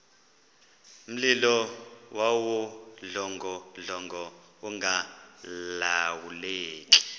mlilo wawudlongodlongo ungalawuleki